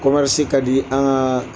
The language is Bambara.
ka di an ka